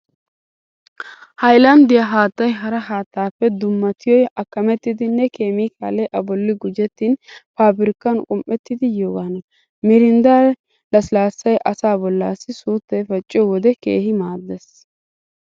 Haylanddiyaa haattay hara haattaappe dummatiyoy akkamettidanne keemikaalee a bolli gujjettin faabirkkan qum"ettidi yiyoogaana. Mirinddaa lasilaassay asaa bollaassi suuttay pacciyo wode keehi maaddees.